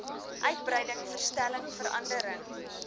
uitbreiding verstelling verandering